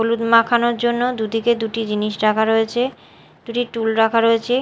হলুদ মাখানোর জন্য দুদিকে দুটি জিনিস রাখা রয়েছে দুটি টুল রাখা রয়েছে।